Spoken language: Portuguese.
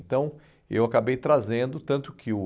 Então, eu acabei trazendo, tanto que o...